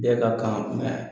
Bɛɛ ka kan